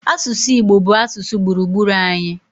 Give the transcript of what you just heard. Asụsụ Igbo bụ asụsụ gburugburu anyị.